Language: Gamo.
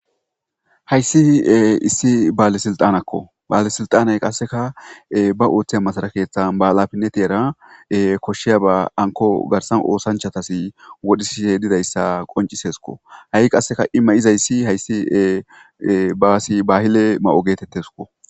Hayssi e issi baale silttaneko baale silttaney qasseka ba oththiya masira keththan be halafinetera koshshiyabba hankko garssan ossanchatas wodhisishe diizayssa qonccisesiko hai qasse i mayizaysi hayssi e bassi bahille mayo gettetesikko.